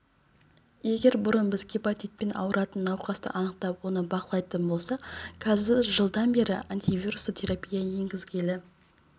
егер бұрын біз гепатитпен ауыратын науқасты анықтап оны бақылайтын болсақ қазір жылдан бері антивирусты терапия енгізілгелі